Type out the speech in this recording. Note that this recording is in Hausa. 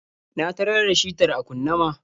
Na tarar da shitar a kunne ma.